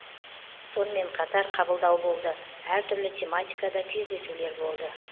сонымен қатар қабылдау болды әртүрлі тематикада кездесулер болды